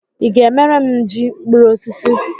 Ị ga-emere m ji mkpuru osisi?